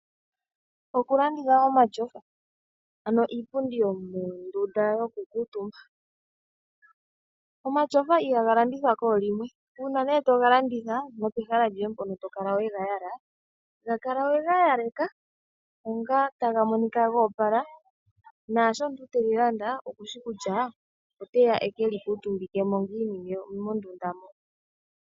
Okulanditha omatyofa ano iipundi yomondunda yokukuutumba, omatyofa ihaga landithwa koolimwe uuna nee toga landitha nopehala lyoye mpono tokala wega yala, gakala wega yaleka onga taga monika goopala naasho omuntu teli landa okushi kutya oteya ekeli kuutumbike mo ngiini mondunda mo.